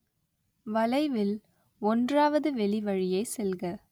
வளைவில், ஒன்றாவது வெளிவழியே செல்க